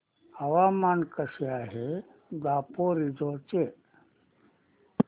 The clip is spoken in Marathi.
हवामान कसे आहे दापोरिजो चे